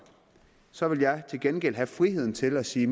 så vil jeg til gengæld have friheden til at sige